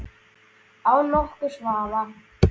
Án nokkurs vafa.